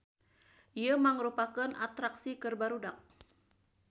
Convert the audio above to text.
Ieu mangrupakeun atraksi keur barudak.